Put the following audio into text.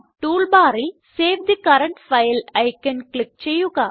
tool ബാറിൽ save the current file icon click ചെയ്യുക